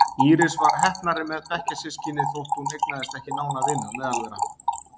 Íris var heppnari með bekkjarsystkini þótt hún eignaðist ekki nána vini á meðal þeirra.